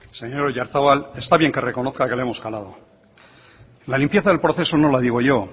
señor oyarzabal está bien que reconozca que le hemos calado la limpieza del proceso no la digo yo